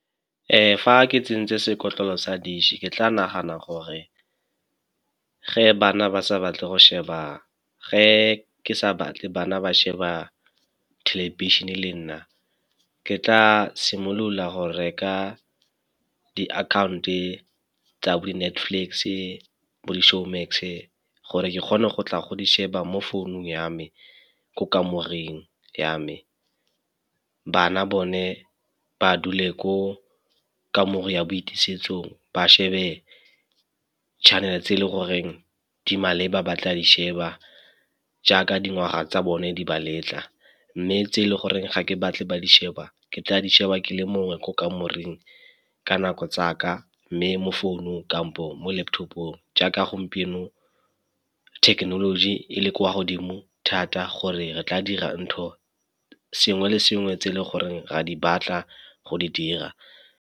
Fa ke tsentse sekotlolo sa dish-e ke tla nagana gore ge bana ba sa batle go sheba, ge ke sa batle bana ba sheba thelebišene le nna. Ke tla simolola go reka di-account-e tsa bo di-Netflix-e bo di-Showmax-e gore ke kgone go tla go di sheba mo founung ya me ko kamoreng ya me. Bana bone ba dule ko kamore ya boitisetso ba shebe channel-e tse e leng goreng di maleba ba tla di sheba jaaka dingwaga tsa bone di ba letla. Mme tse e le goreng ga ke batle ba di sheba ke tla di sheba ke le mongwe ko kamoreng ka nako tsa ka, mme mo founung kampo mo laptop-ong jaaka gompieno technology e le kwa godimo thata gore re tla dira ntho sengwe le sengwe se e leng gore re a di batla go di dira.